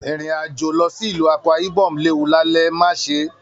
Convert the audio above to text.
Irin-ajo lọ sí ìlú Akwa-Ibom léwu l'alẹ̀, má ṣe!